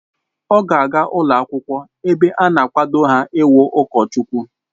Ọ ga aga ụlọ akwụkwọ ebe a na-akwado ha ị wu ụkọchukwu